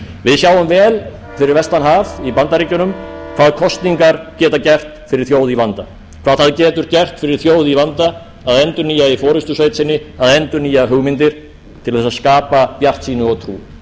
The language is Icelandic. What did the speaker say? við sjáum vel fyrir vestan haf í bandaríkjunum hvað kosningar geta gert fyrir þjóð í vanda hvað það getur gert fyrir þjóð í vanda að endurnýja í forustusveitinni að endurnýja hugmyndir til þess að skapa bjartsýni og trú